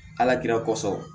Ala kira kosɔ